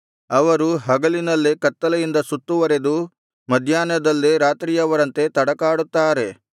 ಅವರು ಹಗಲಿನಲ್ಲೇ ಕತ್ತಲೆಯಿಂದ ಸುತ್ತುವರೆದು ಮಧ್ಯಾಹ್ನದಲ್ಲೇ ರಾತ್ರಿಯವರಂತೆ ತಡಕಾಡುತ್ತಾರೆ